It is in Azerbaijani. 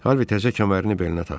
Harvi təzə kəmərini belinə taxdı.